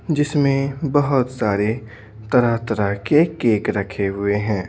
जिसमें बहुत सारे तरह-तरह के केक रखे हुए हैं।